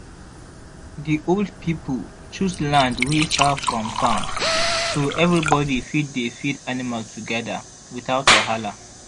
the old pipo choose land wey far from farm so everybody fit dey feed animal together without wahala.